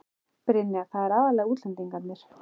Brynja: Það eru aðallega útlendingarnir?